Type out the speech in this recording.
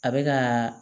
A bɛ ka